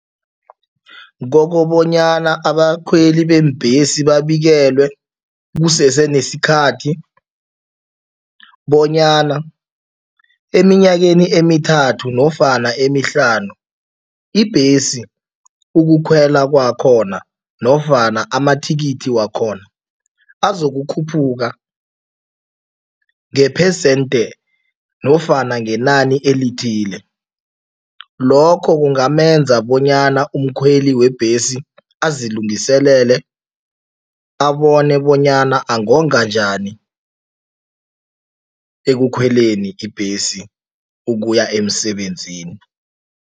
Kokobonyana abakhweli beembhesi babikelwe kusese nesikhathi bonyana eminyakeni emithathu nofana emihlanu, ibhesi ukukhwela kwakhona nofana amathikithi wakhona azokukhuphuka ngephesente nofana ngenani elithile. Lokho kungamenza bonyana umkhweli webhesi azilungiselele, abone bonyana angonga njani ekukhweleni ibhesi ukuya emsebenzini.